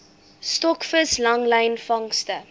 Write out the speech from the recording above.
stokvis langlyn vangste